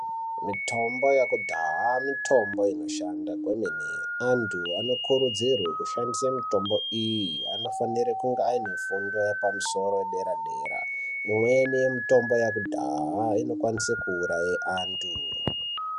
Mitombo yekudhaya mitombo inoshanda kwemene antu anokurudzirwa kushandisa mitombo iyi anofanira kunge ane fundo yepamusoro yedera dera imweni yemitombo yekudhaya inokwanisa kuuraya antu.